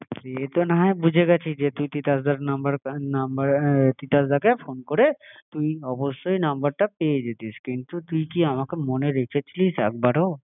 সে তো না হয় বুঝে গেছি যে তুই তিতাসদার নম্বরে নম্বরে তিতাস দা কে ফোন করে তুই অবস্হায় ফোন নম্বরটা পেয়ে যেতিস কিন্তু তুই কি আমাকে মনে রেখেছিস একবারও